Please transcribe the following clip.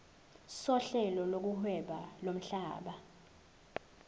sohlelo lokuhweba lomhlaba